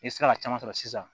I sera ka caman sɔrɔ sisan